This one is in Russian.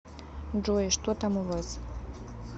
джой что там у вас